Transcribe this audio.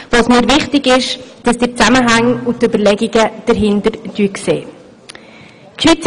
Mir ist wichtig, dass Sie die Zusammenhänge und Überlegungen sehen, die hinter diesen einzelnen Punkten stehen.